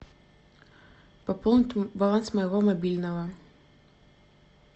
пополнить баланс моего мобильного